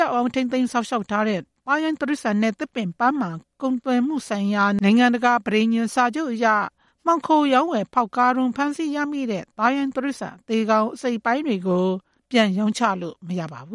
ောက်အောင် ထိန်းသိမ်းစောင့်ရှောက်ထားတဲ့ သားရိုင်းတိရစ္ဆာန်နဲ့ သစ်ပင် ပန်းမန်ကုန်သွယ်မှုဆိုင်ရာ နိုင်ငံတကာ ပဋိညာဉ်အရ မှောင်ခိုသားရိုင်းတိရစ္ဆာန် အစိတ်အပိုင်းတွေကို ပြန်ရောင်းချလို့မရပါဘ